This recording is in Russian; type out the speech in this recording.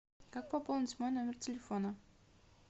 как пополнить мой номер телефона